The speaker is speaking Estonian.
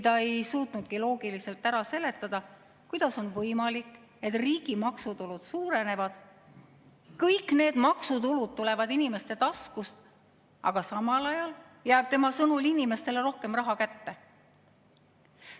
Ta ei suutnudki loogiliselt ära seletada, kuidas on võimalik, et kui riigi maksutulud suurenevad ja kõik need maksutulud tulevad inimeste taskust, siis samal ajal jääb tema sõnul inimestele rohkem raha kätte.